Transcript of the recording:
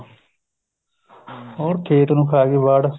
ਹੋਰ ਖੇਤ ਨੂੰ ਖਾ ਗਈ ਬਾੜ